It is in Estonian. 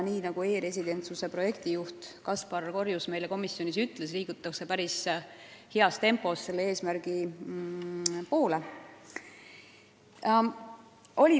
E-residentsuse projektijuht Kaspar Korjus ütles meile komisjonis, et selle eesmärgi poole liigutakse päris heas tempos.